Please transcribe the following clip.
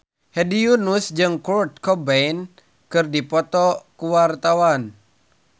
Fitri Tropika jeung Kurt Cobain keur dipoto ku wartawan